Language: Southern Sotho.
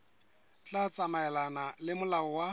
tla tsamaelana le molao wa